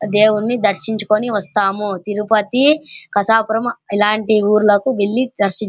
దేవుని దర్శించుకుని వస్తాము తిరుపతి కసాపురం ఇలాంటి ఊర్లకు వెళ్లి దర్శించు --